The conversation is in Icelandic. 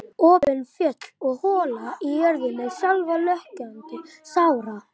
Opin fjöll og hóla og jörðina sjálfa logandi sára.